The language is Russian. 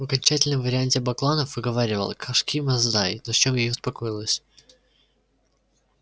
в окончательном варианте бакланов выговаривал кошки масдай на чем я и успокоилась